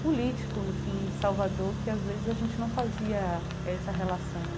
político, enfim, de Salvador, que às vezes a gente não fazia essa relação.